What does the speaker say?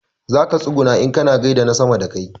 Zaka tsuguna in kaza gaida na sama da kai